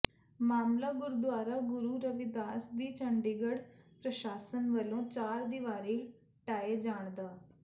ਮਾਮਲਾ ਗੁਰਦੁਆਰਾ ਗੁਰੂ ਰਵੀਦਾਸ ਦੀ ਚੰਡੀਗੜ੍ਹ ਪ੍ਰਸ਼ਾਸਨ ਵੱਲੋਂ ਚਾਰ ਦੀਵਾਰੀ ਢਾਹੇ ਜਾਣ ਦਾ